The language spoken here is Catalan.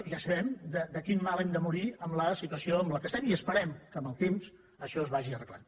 ja sabem de quin mal hem de morir amb la situació en què estem i esperem que amb el temps això es vagi arreglant